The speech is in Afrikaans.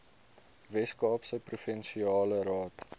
weskaapse provinsiale raad